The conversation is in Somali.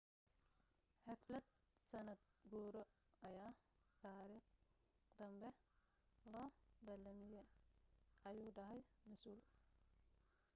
xaflad sanad guuro ayaa taarikh danbe loo balamiye ayuu dhahay masuul